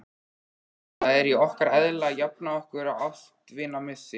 Það er í okkar eðli að jafna okkur á ástvinamissi.